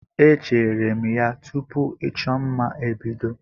Echeere m ya tupu ịchọ mma ebido.